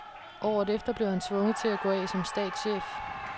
Året efter blev han tvunget til at gå af som statschef.